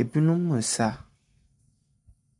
Ebinom resa.